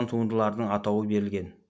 туындылардың атауы берілген